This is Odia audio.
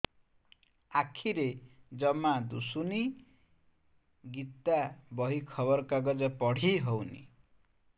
ଆଖିରେ ଜମା ଦୁଶୁନି ଗୀତା ବହି ଖବର କାଗଜ ପଢି ହଉନି